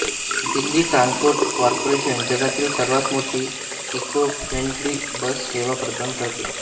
Delhi transport corporation जगातील सर्वात मोठी इकोफ्रेन्डली बस सेवा प्रदान करते